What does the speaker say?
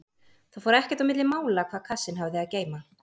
Það fór ekkert á milli mála hvað kassinn hafði að geyma.